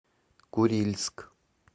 курильск